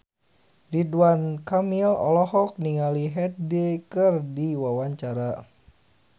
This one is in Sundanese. Ridwan Kamil olohok ningali Hyde keur diwawancara